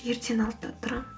ертең алтыда тұрамын